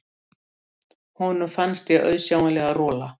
Honum fannst ég auðsjáanlega rola.